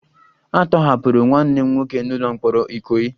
A tọhapụrụ nwanne m nwoke n'ụlọ mkpọrọ ikoyi